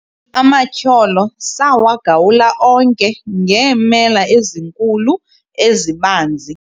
amatyholo sawagawula onke ngeemela ezinkulu ezibanzi